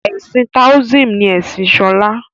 ẹsìn taoism ni Ẹsìn Shola.